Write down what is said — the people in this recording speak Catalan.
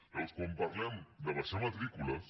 llavors quan parlem d’abaixar matrícules